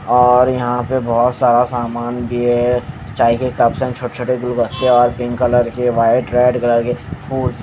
और यहां पे बहोत सारा सामान भी है चाय के कप्स हैं छोटे छोटे गुलगस्ते और पिंक कलर के व्हाइट रेड कलर के फूल--